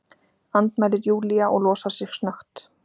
andmælir Júlía og losar sig snöggt.